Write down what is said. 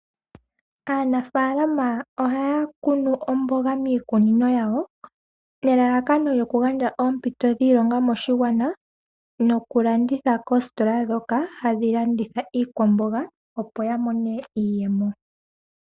Aanafaalama ohaya kunu omboga miikunino yawo, nelalakano lyokugandja oompito dhiilonga moshigwana nokulanditha koositola dhoka hadhi landitha iikwamboga opo yamone iiyemo.